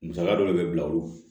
Musaka dɔ le bɛ bila olu ma